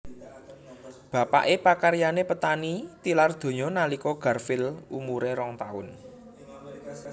Bapaké pakaryané petani tilar donya nalika Garfield umuré rong taun